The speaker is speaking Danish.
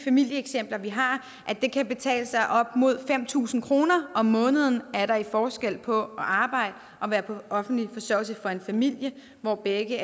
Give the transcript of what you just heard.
familieeksempler vi har at det kan betale sig op mod fem tusind kroner om måneden er der i forskel på at arbejde og være på offentlig forsørgelse for en familie hvor begge